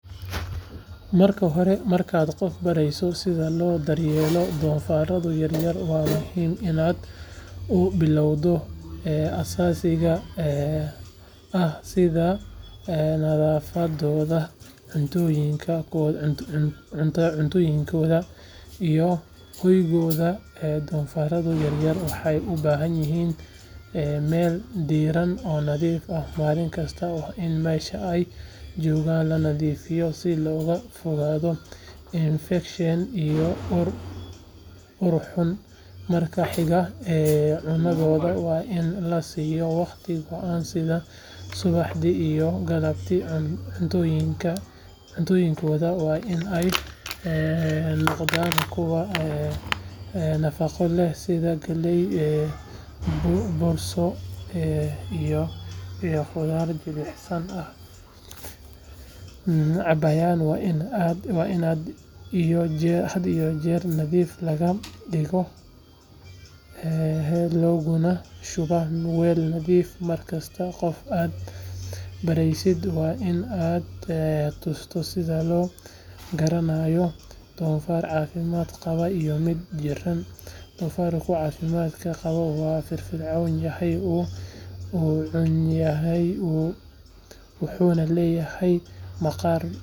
Marka horemarkaad qof barayso sida loo daryeelo doofaarro yaryar waa muhiim inaad u bilowdo asaasiga ahsida nadaafaddooda cuntooyinkooda iyo hoygooda doofaarro yaryar waxay u baahan yihiin meel diiran oo nadiif ah maalin kasta waa in meesha ay joogaan la nadiifiyaa si looga fogaado infekshan iyo ur xunmarka xiga cunadooda waa in la siiyo waqti go’an sida subaxdii iyo galabtii cuntooyinkooda waa in ay noqdaan kuwo nafaqo leh sida galley bursoy iyo khudaar jilcanbiyaha ay cabayaan waa in had iyo jeer nadiif laga dhigayaa looguna shubaa weel nadiifa markasta qofka aad baraysid waa in aad tusto sida loo garanayo doofaar caafimaad qaba iyo mid jiran doofaarka caafimaadka qaba wuu firfircoon yahay wuu cunayaa wuxuuna leeyahay maqaarka oo nadiif ah.